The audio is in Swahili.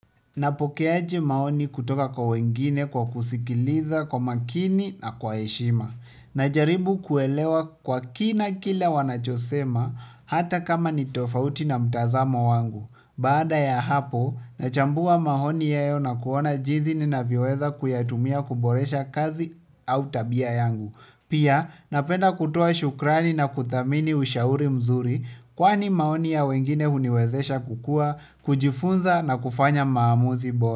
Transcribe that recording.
Napokeaji maoni kutoka kwa wengine kwa kusikiliza kwa makini na kwa eshima. Najaribu kuelewa kwa kina kile wanachosema hata kama ni tofauti na mtazamo wangu. Baada ya hapo nachambua maoni yao kuona jinsi ninavyo weza kuyatumia kuboresha kazi au tabia yangu pia napenda kutoa shukrani na kuthamini ushauri mzuri kwani maoni ya wengine huniwezesha kukua, kujifunza na kufanya maamuzi bora.